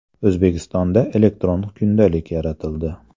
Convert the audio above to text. O‘zbekistonda elektron kundalik yaratildi.